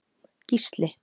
Gísli